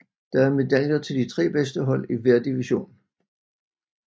Der er medaljer til de 3 bedste hold i hver division